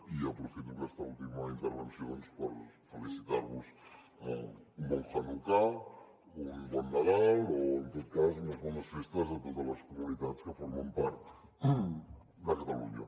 i aprofito aquesta última intervenció doncs per felicitar vos un bon hanukkà un bon nadal o en tot cas unes bones festes a totes les comunitats que formen part de catalunya